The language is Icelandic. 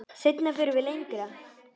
Seinna förum við lengra.